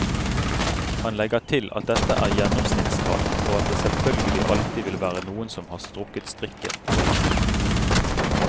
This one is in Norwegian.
Han legger til at dette er gjennomsnittstall, og at det selvfølgelig alltid vil være noen som har strukket strikken for langt.